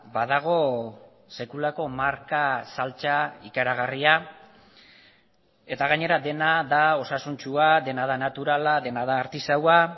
badago sekulako marka saltzea ikaragarria eta gainera dena da osasuntsua dena da naturala dena da artisaua